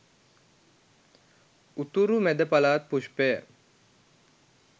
උතුරු මැද පළාත් පුෂ්පය